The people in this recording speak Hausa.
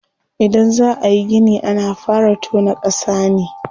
Idan za ayi gini ana fara tona ƙasa ne.